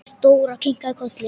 Dóra kinkaði kolli.